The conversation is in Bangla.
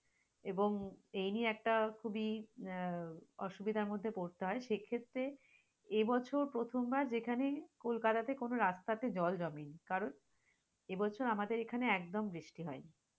এবং এই নিয়ে একটা খুবই আহ অসুবিধার মধ্যে পরতে হয় সে ক্ষেত্রে, এ বছর প্রথম বার যেখানে কলকাতাতে কোন রাস্তাতে কোন জল জমেনি কারন, এ বছর আমাদের এখানে একদম বৃষ্টি হয়নি।